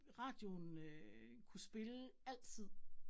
Radioen kunne spille altid